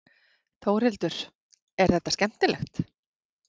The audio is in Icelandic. Þórhildur: Er þetta skemmtilegt?